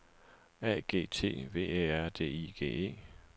A G T V Æ R D I G E